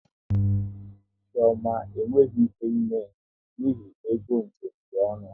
Chioma e nweghị ike ime njem n'ihi n'ego njem dị ọnụ